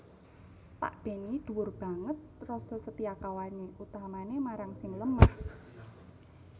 Pak Benny dhuwur banget rasa setiakawané utamané marang sing lemah